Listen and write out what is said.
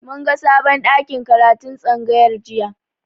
Mun ga sabon ɗakin karatun tsangayar jiya.